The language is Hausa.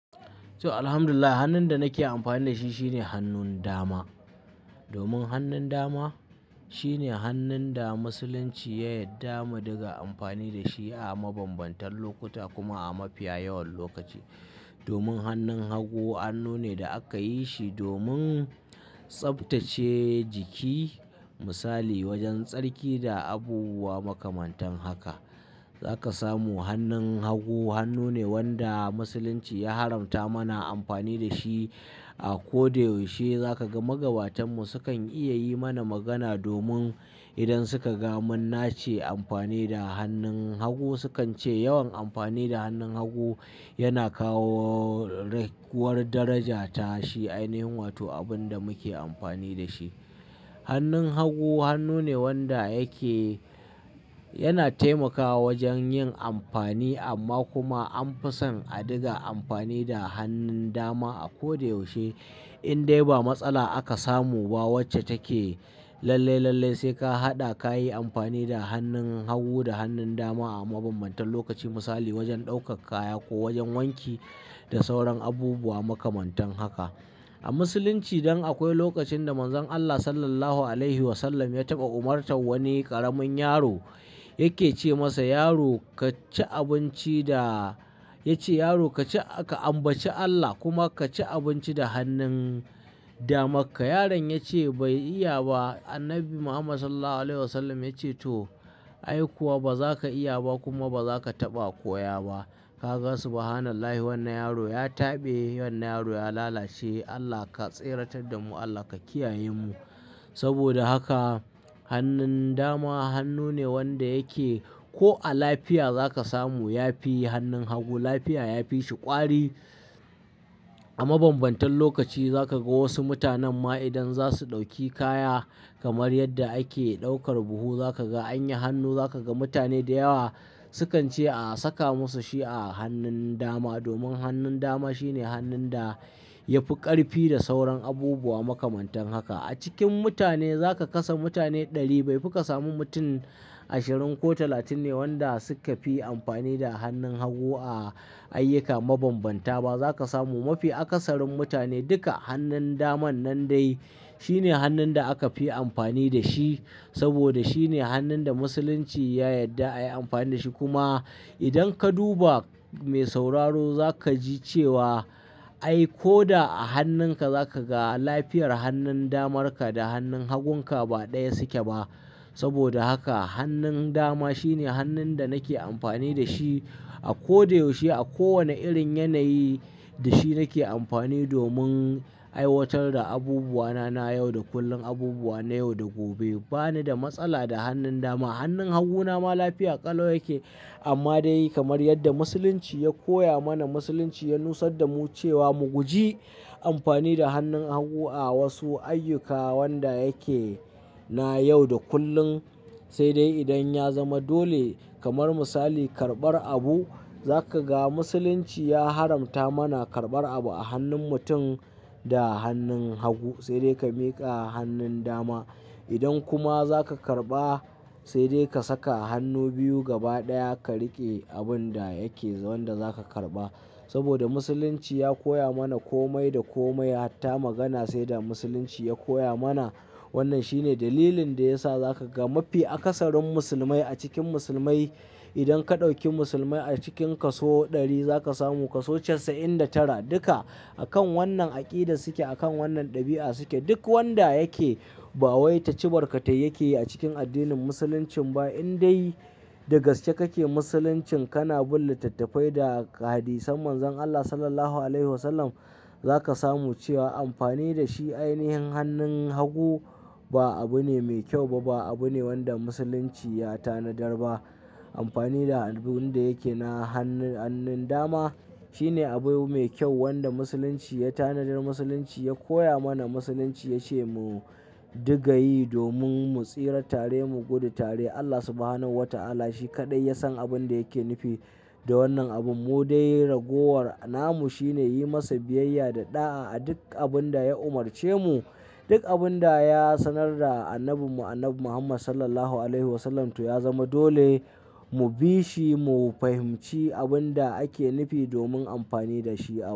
To, Alhamdulillah hannun da nake amfani da shi shine hannun dama. Domin hannun dama shine hannun da musulunci ya yarda mu dinga amfani da shi a mabambantan lokuta kuma a mafiya yawan lokaci. Domin hannun hagu hannu ne da aka yi shi domin tsaftace jiki misali wajen tsarki da abubuwa makamantan haka. Za ka samu hannun hagu hannu ne wanda musulunci ya haramta mana amfani da shi a ko da yaushe. Za ka ga magabatanmu su kan iya yi mana magana domin idan suka ga mun nace amfani da hannun hagu sukan ce yawan amfani da hannun hagu yana kawo raguwar daraja ta shi ainihin wato abun da muke amfani da shi. Hannun hagu hannu ne wanda yake-- yana taimakawa wajen yin amfani amma kuma an fi son a dinga amfani da hannun dama a ko da yaushe. In dai ba matsala aka samu ba wacce take lalle-lalle sai ka haɗa ka yi amfani da hannun hagu da hannun dama a mabambantan lokaci misali wajen ɗaukar kaya ko wajen wanki da sauran abubuwa makamantan haka. A musulunci dan akwai lokacin da Manzon Allah Sallallahu Alaihi Wasallam ya taɓa umartan wani ƙaramin yaro yake ce masa: "Yaro ka ci abinci da "Ya ce: "Yaro ka ci-- ka ambaci Allah kuma ka ci abinci da hannun damakka." Yaron ya ce bai iya ba. Annabi Muhammad Sallallahu Alaihi Wasallam ya ce to, ai kuwa ba za ka iya ba kuma ba za ka taɓa koya ba. Ka gan su subhanallahi wannan yaro ya taɓe, wannan yaro ya lalace. Allah ka tsiratar da mu, Allah ka kiyaye mu. Saboda haka hannun dama hannu ne wanda yake ko a lafiya za ka samu ya fi hannun hagu lafiya, ya fi shi ƙwari. A mabambantan lokaci za ka ga wasu mutanen ma idan za su ɗauki kaya kamar yadda ake ɗaukar buhu za ka ga an yi hannu, za ka ga mutane da yawa sukan ce a saka musu shi a hannun dama. Domin hannun dama shine hannun da ya fi ƙarfi da sauran abubuwa makamantan haka. A cikin mutane za ka kasa mutane ɗari bai fi ka samu mutum ashirin ko talatin ne wanda suka fi amfani da hannun hagu a ayyuka mabambanta ba. Za ka samu mafi akasarin mutane duka hannun daman nan dai shine hannun da aka fi amfani da shi saboda shine hannun da musulunci ya yarda ayi amfani da shi. Kuma idan ka duba mai sauraro za ka ji cewa ai ko da a hannunka za ka ga lafiyar hannun damarka da hannun hagunka ba ɗaya suke ba. Saboda haka hannun dama shine hannun da nake amfani da shi a ko da yaushe a kowane irin yanayi da shi nake amfani domin ai watar da abubuwa na nayau da kullum abubuwa nayau da gobe. Ba ni da matsala da hannun dama. Hannun haguna ma lafiya ƙalo yake amma dai kamar yadda musulunci ya koya mana, musulunci ya nusar da mu cewa mu guji amfani da hannun hagu a wasu ayyuka wanda yake na yau da kullum. Sai dai idan ya zama dole kamar misali karɓar abu za ka ga musulunci ya haramta mana karɓar abu a hannun mutum da hannun hagu sai dai ka miƙa a hannun dama. Idan kuma za ka karɓa sai dai ka saka hannu biyu gaba ɗaya ka riƙe abun da yake, wanda za ka karɓa. Saboda musulunci ya koya mana kome da kome hatta magana sai da musulunci ya koya mana. Wannan shine dalilin da ya sa za ka ga mafi akasarin musulmai a cikin musulmai idan ka ɗauki musulmai a cikinka so ɗari za ka samu ka so casa'in da tara duka akan wannan aƙida suke, akan wannan ɗabi'a suke. Duk wanda yake bawai ta ci barka tai yakiyi a cikin addinin musulunci ba indai da gaske kake musulunci kana bin littattafai da hadisan Manzon Allah Sallallahu Alaihi Wasallam za ka samu cewa amfani da shi ainihin hannun hagu ba abu ne mai kyau ba, ba abu ne wanda musulunci ya tanadar ba. Amfani da abun da yake na hannun, hannun dama shine abu mai kyau wanda musulunci ya tanadar. Musulunci ya koya mana, musulunci ya ce mu dinga yi domin mu tsira tare, mu gudu tare. Allah Subhanahu wa ta'ala shi kaɗai ya san abin da yake nufi da wannan abu. Mu dai ragowar namu shine yi masa biyayya da ɗa'a a duk abin da ya umarce mu, duk abin da ya sanar da annabin mu, Annabi Muhammad Sallallahu Alaihi Wasallam to ya zama dole mu bi shi, mu fahimci abin da ake nufi domin amfani da shi a.